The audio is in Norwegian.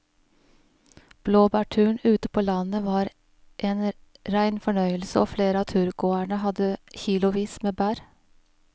Blåbærturen ute på landet var en rein fornøyelse og flere av turgåerene hadde kilosvis med bær.